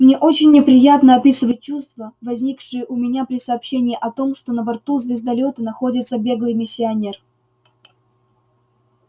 мне очень неприятно описывать чувства возникшие у меня при сообщении о том что на борту звездолёта находится беглый миссионер